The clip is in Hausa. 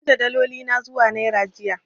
Na canja daloli na zuwa naira jiya.